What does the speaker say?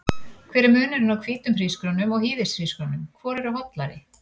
Hver er munurinn á hvítum hrísgrjónum og hýðishrísgrjónum, hvor eru hollari?